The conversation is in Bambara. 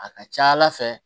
A ka ca ala fɛ